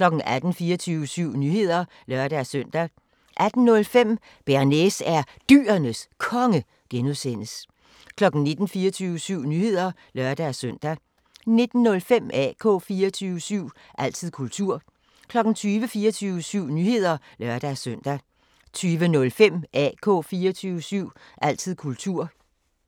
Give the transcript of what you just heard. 18:00: 24syv Nyheder (lør-søn) 18:05: Bearnaise er Dyrenes Konge (G) 19:00: 24syv Nyheder (lør-søn) 19:05: AK 24syv – altid kultur 20:00: 24syv Nyheder (lør-søn) 20:05: AK 24syv – altid kultur